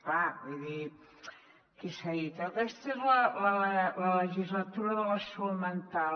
clar vull dir aquí s’ha dit aquesta és la legislatura de la salut mental